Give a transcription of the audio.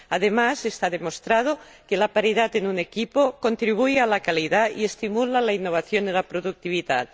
Además, está demostrado que la paridad en un equipo contribuye a la calidad y estimula la innovación y la productividad.